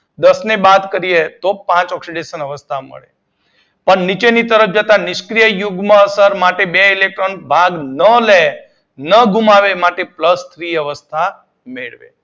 દસ ને બાદ કરી એ તો પાંચ ઓક્સીડેશન અવસ્થા મળે પણ નીચેની તરફ જતાં નિષ્ક્રીય યુગ્મ અસર માટે બે ઇલેક્ટ્રોન બાદ ના લે ન ગુમાવે માટે પ્લસ થ્રી અવસ્થા મેળવે